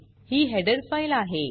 ही header file आहे